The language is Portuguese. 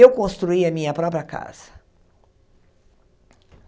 Eu construí a minha própria casa.